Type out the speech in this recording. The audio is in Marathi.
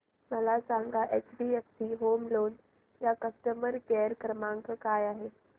मला सांगा एचडीएफसी होम लोन चा कस्टमर केअर क्रमांक काय आहे